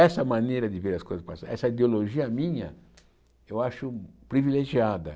Essa maneira de ver as coisas passarem, essa ideologia minha, eu acho privilegiada.